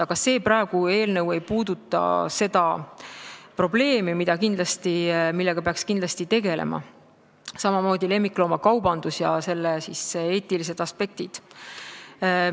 Aga see eelnõu ei puuduta seda probleemi, millega peaks ka kindlasti tegelema, nagu ka lemmikloomakaubanduse ja selle eetiliste aspektidega.